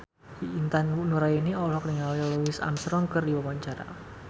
Intan Nuraini olohok ningali Louis Armstrong keur diwawancara